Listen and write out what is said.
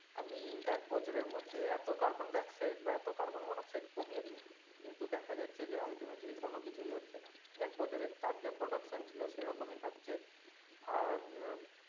আমি এক বছরের মধ্যে এত carbon dioxide বা এত carbon monooxide কমিয়ে দেবো কিন্তু দেখা যাচ্ছে যে ultimately কোন কিছুই হচ্ছে না এক বছরে যার যা production ছিল সেরকমই থাকছে আর উম